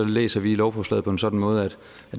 læser vi lovforslaget på en sådan måde at